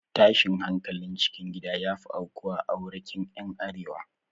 Tashin hankalin cikin gida ya fi aukuwa a aurekin ƴan arewa